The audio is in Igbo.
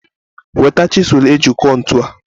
Weta chisụl eji kụọ ntu a!